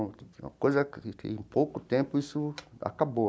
Uma coisa que, em pouco tempo, isso acabou.